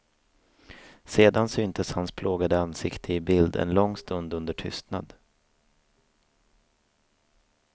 Sedan syntes hans plågade ansikte i bild en lång stund under tystnad.